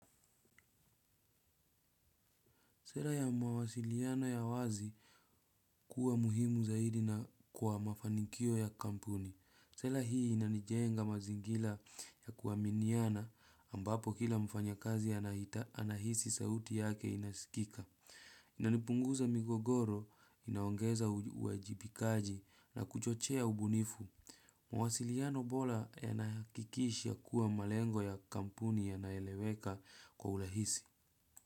Sela ya mawasiliano ya wazi kuwa muhimu zaidi na kwa mafanikio ya kampuni. Sela hii inanijenga mazingira ya kuwaminiana ambapo kila mfanya kazi anahisi sauti yake inasikika. Inanipunguza migogoro, inaongeza uajibikaji na kuchochea ubunifu. Mwasiliano bora yanahakikisha kuwa malengo ya kampuni yanaeleweka kwa urahisi.